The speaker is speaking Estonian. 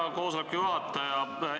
Hea koosoleku juhataja!